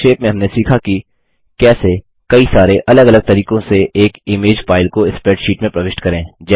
संक्षेप में हमने सीखा कि कैसे कई सरे अलग अलग तरीकों से एक इमेज फाइल को स्प्रैडशीट में प्रविष्ट करें